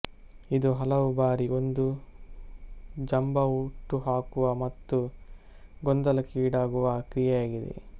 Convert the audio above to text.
ಇದು ಹಲವು ಬಾರಿ ಒಂದು ಜಂಬಹುಟ್ಟುಹಾಕುವ ಮತ್ತು ಗೊಂದಲಕ್ಕೀಡಾಗುವ ಕ್ರಿಯೆಯಾಗಿದೆ